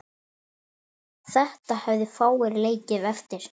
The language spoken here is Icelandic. Þetta hefðu fáir leikið eftir.